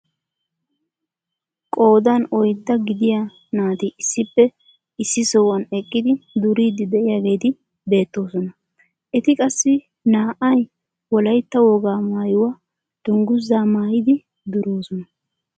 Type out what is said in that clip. Qoodan oyddaa gidiyaa naati issippe issi sohuwaan eqqidi duriidi de'iyaageti beettoosona. eti qassi naa"ay wollaytta wogaa mayuwaa dunguzaa maayidi duroosona.